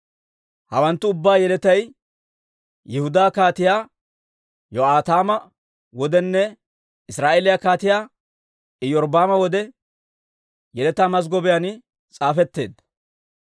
Hawanttu ubbaa yeletay Yihudaa Kaatiyaa Yo'aataama wodenne Israa'eeliyaa Kaatiyaa Iyorbbaama wode yeletaa mazggobiyaan s'aafetteedda.